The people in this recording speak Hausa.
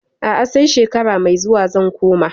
A'a, sai shekara mai zuwa zan koma.